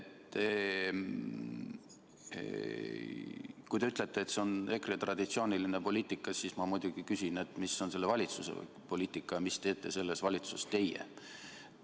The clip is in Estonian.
Kui te ütlete, et see on EKRE traditsiooniline poliitika, siis ma muidugi küsin, mis on selle valitsuse poliitika ja mida teete selles valitsuses teie.